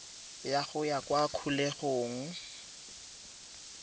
ya go ya kwa kgolegelong